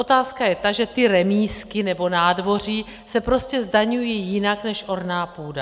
Otázka je ta, že ty remízky nebo nádvoří se prostě zdaňují jinak než orná půda.